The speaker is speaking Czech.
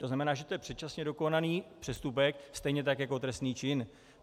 To znamená, že to je předčasně dokonaný přestupek stejně tak jako trestný čin.